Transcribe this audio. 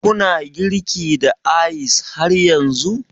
Ku na girki da ice har yanzu?